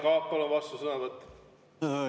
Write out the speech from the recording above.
Jaak Aab, palun, vastusõnavõtt!